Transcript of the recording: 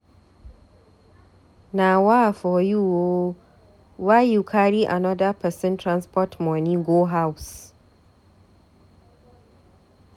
Nawaa for you o, why you carry anoda pesin transport moni go house?